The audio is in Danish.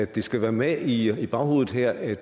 det skal være med i i baghovedet her at